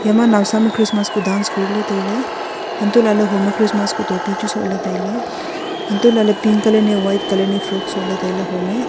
Yama nawsam e christmas kuh dance koriley tailey huntoh lahley hom e christmas kuh topy chu sohley tailey untoh lahley pink colour ni white colour ni frock sohley tailey hom e.